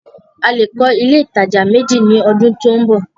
A lè kọ́ ilé alájà méjì ní ọdún tí ó ń bọ̀.